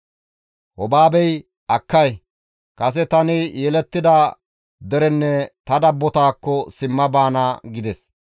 Hobaabey, «Akkay! Kase tani yelettida derenne ta dabbotakko simma baana» gides.